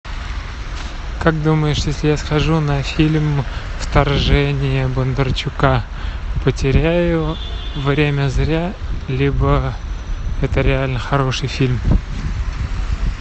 как думаешь если я схожу на фильм вторжение бондарчука потеряю время зря либо это реально хороший фильм